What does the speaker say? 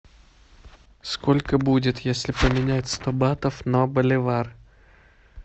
сколько будет если поменять сто батов на боливар